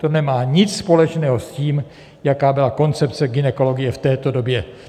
To nemá nic společného s tím, jaká byla koncepce gynekologie v této době.